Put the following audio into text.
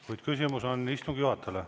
Kuid küsimus on istungi juhatajale.